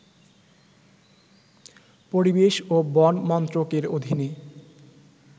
পরিবেশ ও বন মন্ত্রকের অধীনে